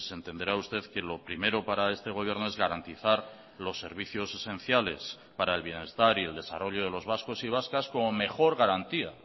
entenderá usted que lo primero para este gobierno es garantizar los servicios esenciales para el bienestar y el desarrollo de los vascos y vascas como mejor garantía